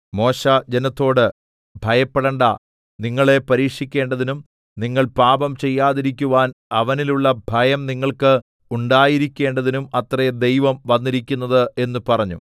മോശെ ജനത്തോട് ഭയപ്പെടേണ്ടാ നിങ്ങളെ പരീക്ഷിക്കേണ്ടതിനും നിങ്ങൾ പാപം ചെയ്യാതിരിക്കുവാൻ അവനിലുള്ള ഭയം നിങ്ങൾക്ക് ഉണ്ടായിരിക്കേണ്ടതിനും അത്രേ ദൈവം വന്നിരിക്കുന്നത് എന്ന് പറഞ്ഞു